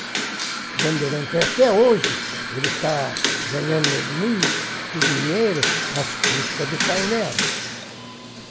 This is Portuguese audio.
A Bandeirantes, até hoje, ele está ganhando muito dinheiro às custas do painel.